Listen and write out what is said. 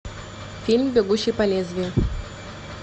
фильм бегущий по лезвию